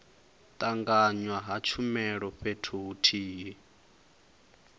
tanganywa ha tshumelo fhethu huthihi